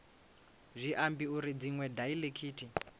zwi ambi uri dziṅwe daiḽekithi